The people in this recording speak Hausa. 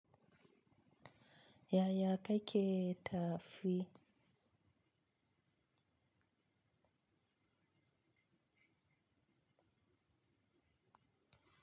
Yaya ka ke tafi?